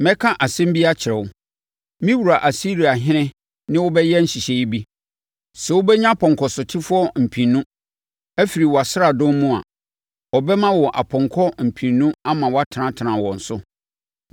“ ‘Mɛka asɛm bi akyerɛ wo! Me wura Asiriahene ne wo bɛyɛ nhyehyɛeɛ bi. Sɛ wobɛnya apɔnkɔsotefoɔ mpenu, afiri wʼasraadɔm mu a, ɔbɛma wɔn apɔnkɔ mpenu ama wɔatenatena wɔn so.